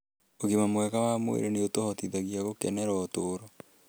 Ũgima mwega wa mwĩrĩ nĩ ũtũhotithagia gũkenera ũtũũro